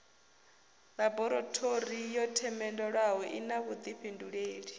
ḽaborathori yo themendelwaho ina vhuḓifhindulei